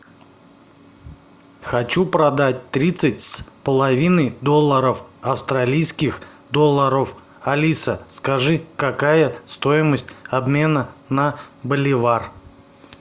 хочу продать тридцать с половиной долларов австралийских долларов алиса скажи какая стоимость обмена на боливар